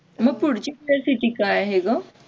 मग पुढची university काय आहे ग